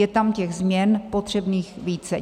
Je tam těch změn potřebných více.